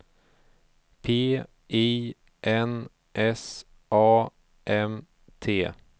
P I N S A M T